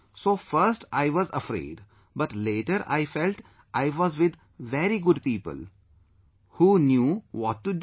So first I was afraid, but later I felt I was with very good people, who knew what to do